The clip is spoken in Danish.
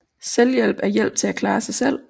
Selvhjælp er hjælp til at klare sig selv